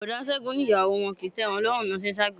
Boda Ségun ní ìyàwó wọn kì í tẹ́wọn lọ́run lọ́ ṣe ń s'agbere.